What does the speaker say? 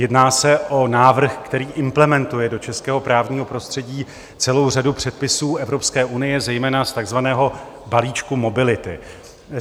Jedná se o návrh, který implementuje do českého právního prostředí celou řadu předpisů Evropské unie, zejména z takzvaného balíčku mobility.